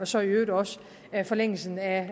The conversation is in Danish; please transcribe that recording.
så i øvrigt også forlængelsen af